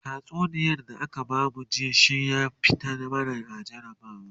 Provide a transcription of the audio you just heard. tatsuniyar da aka bamu jiya shinya fito mana a jarabawa